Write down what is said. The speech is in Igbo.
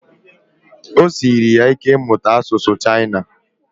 Ọ siri ya ike ịmụta asụsụ chaina